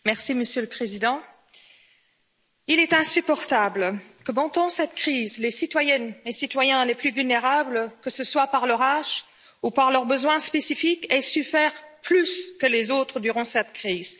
Monsieur le Président, il est insupportable que pendant cette crise les citoyennes et citoyens les plus vulnérables, que ce soit par leur âge ou par leurs besoins spécifiques, aient souffert plus que les autres durant cette crise.